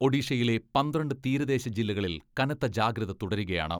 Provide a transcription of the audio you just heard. ഒഡീഷയിലെ പന്ത്രണ്ട് തീരദേശ ജില്ലകളിൽ കനത്ത ജാഗ്രത തുടരുകയാണ്.